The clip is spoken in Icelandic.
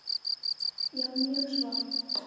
Já, mjög svo.